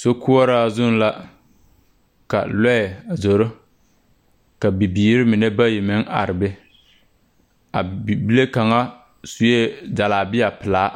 Sokoɔraa zuŋ la ka lɔɛ a zoro ka. bibiire mine bayi meŋ are be a bibile kaŋa suee jalabia pilaa